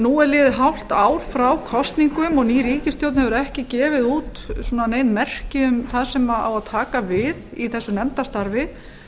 nú er liðið hálft ár frá kosningum og ný ríkisstjórn hefur ekki gefið út nein merki um það sem á að taka við í þessu nefndarstarfi